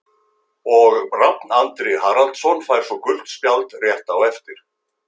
Og Rafn Andri Haraldsson fær svo gult spjald rétt á eftir.